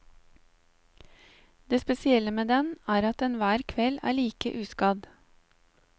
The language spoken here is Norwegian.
Det spesielle med den er at den hver kveld er like uskadd.